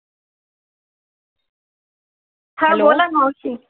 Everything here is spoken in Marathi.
हा बोला मावशी